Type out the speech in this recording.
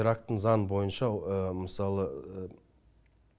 ирактың заңы бойынша мысалы